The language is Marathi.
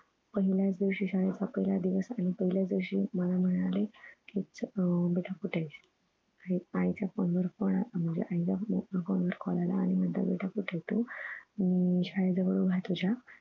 पहिलाच दिवशी शाळेचा पहिला दिवस आणि पहिल्याच दिवशी मला म्हणाले कि अह बेटा कुठं आहेस आईच्या phone वर phone अह म्हणजे आईच्या phone वर call आला आणि म्हणतात बेटा कुठं आहे तू अं मी शाळेजवळ उभा आहे तुझ्या